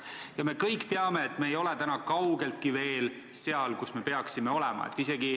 Ja me kõik teame, et me ei ole täna kaugeltki veel seal, kus me peaksime olema.